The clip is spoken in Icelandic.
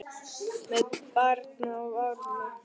Með barn á armi?